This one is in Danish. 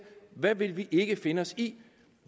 hvad vil vi ikke finde os i